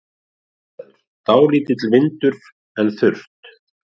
Aðstæður: Dálítill vindur en þurrt.